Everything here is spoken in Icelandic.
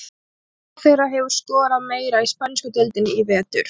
Hvor þeirra hefur skorað meira í spænsku deildinni í vetur?